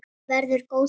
Verður góð saga.